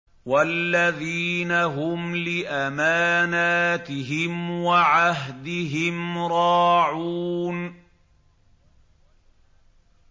وَالَّذِينَ هُمْ لِأَمَانَاتِهِمْ وَعَهْدِهِمْ رَاعُونَ